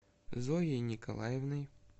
зоей николаевной